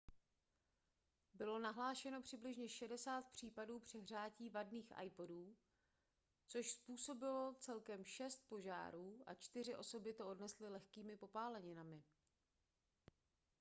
bylo nahlášeno přibližně 60 případů přehřátí vadných ipodů což způsobilo celkem šest požárů a čtyři osoby to odnesly lehkými popáleninami